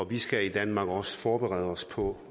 vi skal i danmark også forberede os på